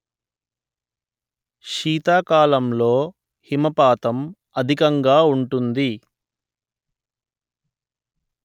శీతాకాలంలో హిమపాతం అధికంగా ఉంటుంది